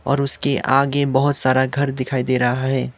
और उसके आगे बहोत सारा घर दिखाई दे रहा है।